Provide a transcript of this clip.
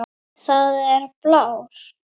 Það er blár.